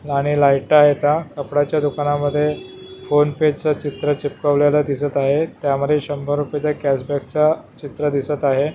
आणि लाईटा आहेता कपडाच्या दुकानामध्ये फोन पे च चित्र चिपकवलेल दिसत आहे त्यामध्ये शंभर रुपयाचा कॅशबॅकचा चित्र दिसत आहे.